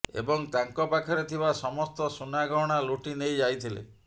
ଏବଂ ତାଙ୍କ ପାଖରେ ଥିବା ସମସ୍ତ ସୁନାଗହଣା ଲୁଟି ନେଇଯାଇଥିଲେ